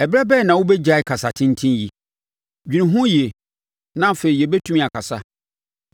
“Ɛberɛ bɛn na wobɛgyae kasa tenten yi? Dwene ho yie, na afei yɛbɛtumi akasa.